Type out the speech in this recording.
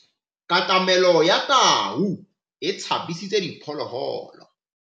Katamêlô ya tau e tshabisitse diphôlôgôlô.